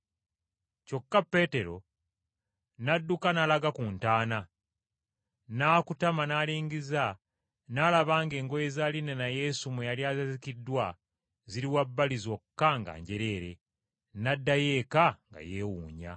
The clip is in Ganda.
Kyokka Peetero n’adduka n’alaga ku ntaana, n’akutama n’alingiza n’alaba ng’engoye za linena Yesu mwe yali azingiddwa ziri wabbali zokka nga njereere, n’addayo eka nga yeewuunya.